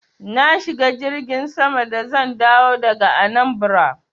Na shiga jirgin sama da zan dawo daga Anambra.